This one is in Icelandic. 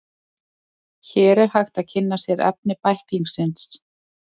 Hér er hægt að kynna sér efni bæklingsins.